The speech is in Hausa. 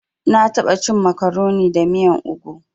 Na taɓa cin makaroni da miyan ogu.